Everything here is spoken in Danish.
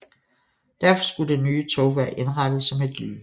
Derfor skulle det nye tog være indrettet som et lyntog